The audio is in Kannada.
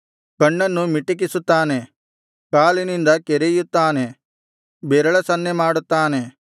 ಕಣ್ಣನ್ನು ಮಿಟಕಿಸುತ್ತಾನೆ ಕಾಲಿನಿಂದ ಕೆರೆಯುತ್ತಾನೆ ಬೆರಳ ಸನ್ನೆಮಾಡುತ್ತಾನೆ